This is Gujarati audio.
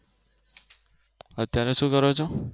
અત્યારે શું કરો છો?